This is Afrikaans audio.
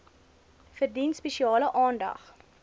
verdien spesiale aandag